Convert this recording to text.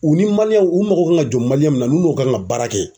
U ni u mago kan ka don mun na ,n'u n'u ka kan ka baara kɛ